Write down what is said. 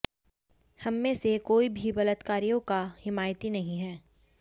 हममें से कोई भी बलात्कारियों का हिमायती नहीं है